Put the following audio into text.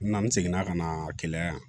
N na n seginna ka na kɛ yan